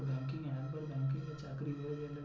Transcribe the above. banking এ একবার banking এ চাকরি হয়ে গেলে।